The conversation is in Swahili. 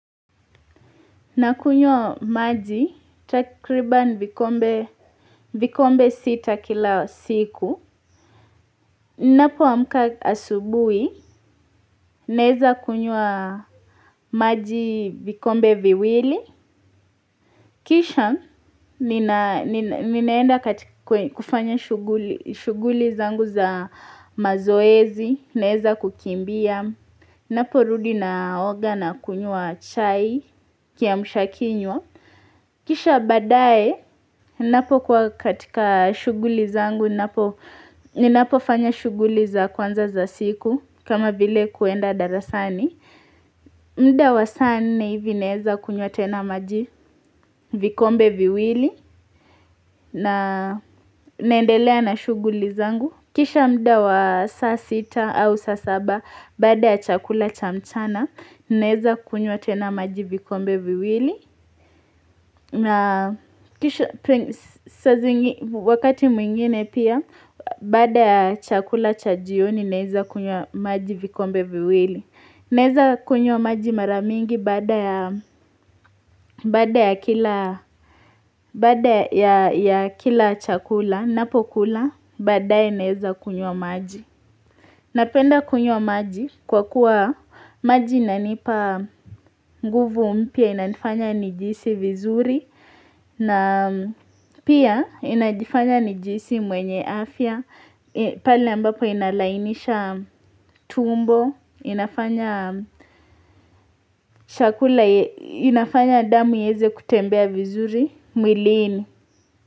Nakunywa maji, takriban vikombe sita kila siku. Napoamka asubui, naeza kunywa maji vikombe viwili. Kisha, ninaenda kufanya shughuli zangu za mazoezi, naeza kukimbia. Naporudi naoga nakunywa chai kiamshakinywa. Kisha baadaye, ninapokuwa katika shughuli zangu, ninapofanya shughuli za kwanza za siku kama vile kuenda darasani mda wa saa nne hivi naeza kunywa tena maji vikombe viwili na naendelea na shughuli zangu Kisha mda wa saa sita au saa saba, baada ya chakula cha mchana, ninaeza kunywa tena maji vikombe viwili na kisha wakati mwingine pia baada ya chakula cha jioni naeza kunywa maji vikombe viwili Naeza kunywa maji mara mingi baada ya ya kila chakula napokula baadaye naeza kunywa maji Napenda kunywa maji kwa kuwa maji inanipa nguvu mpya inanifanya nijihisi vizuri na pia inanifanya nijihisi mwenye afya, pale ambapo inalainisha tumbo, inafanya damu ieze kutembea vizuri, mwilini.